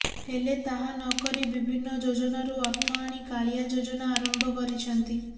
ହେଲେ ତାହା ନ କରି ବିଭିନ୍ନ ଯୋଜନାରୁ ଅର୍ଥ ଆଣି କାଳିଆ ଯୋଜନା ଆରମ୍ଭ କରିଛନ୍ତି